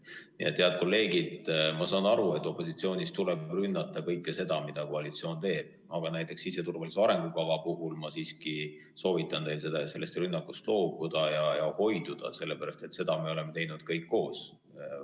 Nii et, head kolleegid, ma saan aru, et opositsioonis tuleb rünnata kõike seda, mida koalitsioon teeb, aga siseturvalisuse arengukava puhul ma siiski soovitan teil sellest rünnakust loobuda ja sellest hoiduda, sest seda me oleme teinud kõik koos.